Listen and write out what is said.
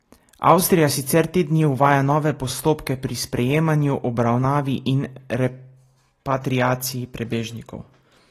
Avstrija sicer te dni uvaja nove postopke pri sprejemanju, obravnavi in repatriaciji prebežnikov.